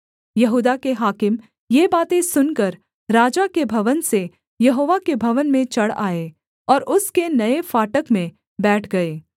यहूदा के हाकिम ये बातें सुनकर राजा के भवन से यहोवा के भवन में चढ़ आए और उसके नये फाटक में बैठ गए